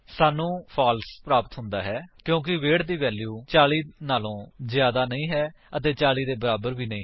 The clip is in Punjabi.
ਸਾਨੂੰ ਫਾਲਸ ਪ੍ਰਾਪਤ ਹੁੰਦਾ ਹੈ ਕਿਉਂਕਿ ਵੇਟ ਦੀ ਵੈਲਿਊ 40 ਤੋਂ ਜਿਆਦਾ ਨਹੀਂ ਹੈ ਅਤੇ 40 ਦੇ ਬਰਾਬਰ ਵੀ ਨਹੀਂ ਹੈ